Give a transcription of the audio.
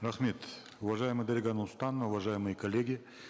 рахмет уважаемая дарига нурсултановна уважаемые коллеги